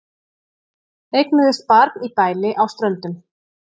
Eignuðust barn í bæli á Ströndum